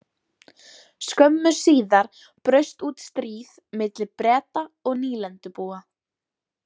Skömmu síðar braust út stríð milli Breta og nýlendubúa.